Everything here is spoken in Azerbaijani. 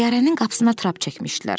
Təyyarənin qapısına trap çəkmişdilər.